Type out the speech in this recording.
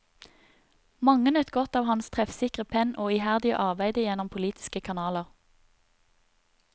Mange nøt godt av hans treffsikre penn og iherdige arbeide gjennom politiske kanaler.